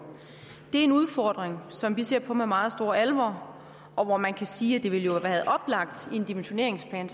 en udfordring som vi ser på med meget stor alvor og hvorom man kan sige at det jo ville have været oplagt i en dimensioneringsplan